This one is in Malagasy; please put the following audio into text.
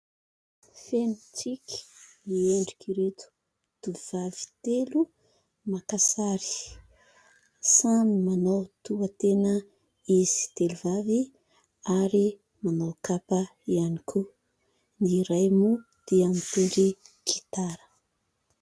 Feno tsiky ny endrik'ireto tovovavy telo maka sary samy manao toha-tena izy telo vavy ary manao kapa ihany koa. Ny iray moa dia mitendry gitara.